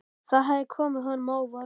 Það hafði komið honum á óvart.